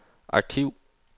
arkiv